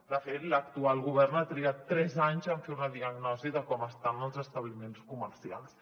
de fet l’actual govern ha trigat tres anys en fer una diagnosi de com estan els establiments comercials